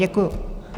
Děkuji.